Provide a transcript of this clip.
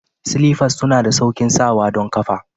Slifers suna da sauƙin sawa don kafa.